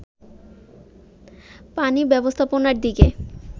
পানি ব্যবস্থাপনার দিকে